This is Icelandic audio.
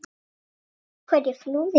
Af hverju flúði ég?